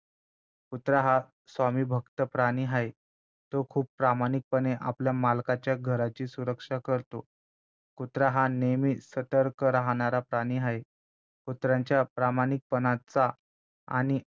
कुत्रा हा स्वामीभक्त प्राणी आहे तो खूप प्रामाणिकपणे आपल्या मालकाच्या घराची सुरक्षा करतो कुत्रा हा नेहमी सतर्क राहणारा प्राणी आहे कुत्र्यांच्या प्रामाणिकपणाचा आणि